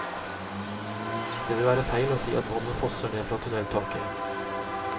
Det vil være feil å si at vannet fosser ned fra tunneltaket.